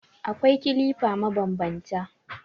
Akwai kilifa mabanbanta.